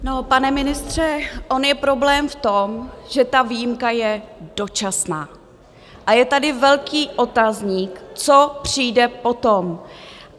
Pane ministře, on je problém v tom, že ta výjimka je dočasná, a je tady velký otazník, co přijde potom.